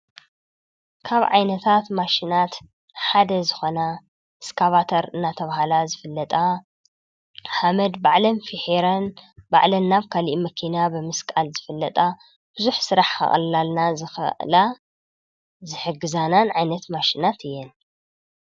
ካብ ዓይነታት ማሽናት ሓደ ዝኮና እስካባተር እናተብሃላ ዝፍለጣ ሓመድ ባዕለን ፊሒረን ባዕለን ናብ ካሊእ መኪና ብምስቃል ዝፍለጣ ብዙሕ ስራሕ ከቅልላልና ዝክእላ ዝሕግዛናነ ዓይነት ማሽናት እየን፡፡